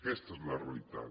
aquesta és la realitat